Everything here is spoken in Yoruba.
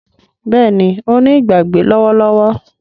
Béèni o ní Ìgbàgbé lówó lówó